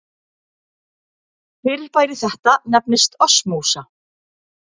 Fyrirbæri þetta nefnist osmósa.